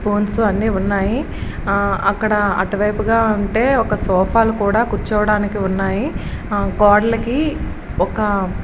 phones అన్నీ ఉన్నాయి అక్కడ అటువైపుగా ఉంటే సోఫా లు కూర్చోవడానికి కూడా ఉన్నాయి ఆ గోడలకి ఒక --